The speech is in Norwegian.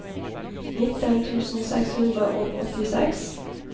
nitten tusen seks hundre og åttiseks